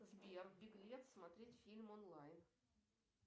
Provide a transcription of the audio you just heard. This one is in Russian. сбер беглец смотреть фильм онлайн